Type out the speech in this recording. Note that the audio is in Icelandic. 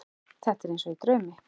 Þetta er eins og í draumi.